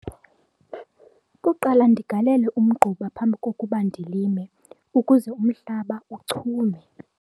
Kuqala ndigalele umgquba phambi kokuba ndilime ukuze umhlaba uchume.